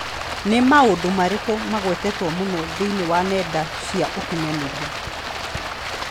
Nĩ maũndũ marĩkũ magwetetwo mũno thĩinĩ wa nenda cia ũkĩnyaniria?